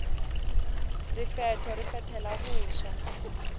rifetho ri fethela vuswa